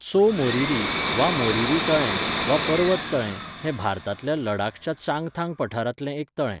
त्सो मोरिरी वा मोरिरी तळें वा 'पर्वत तळें', हें भारतांतल्या लडाखच्या चांगथांग पठारांतलें एक तळें.